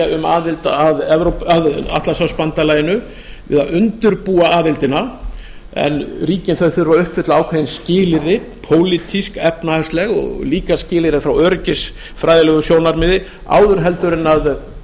um aðild að atlantshafsbandalaginu eða undirbúa aðildina en ríkin þurfa að uppfylla ákveðin skilyrði pólitísk efnahagsleg en líka skilyrði frá öryggisfræðilegu sjónarmiði áður en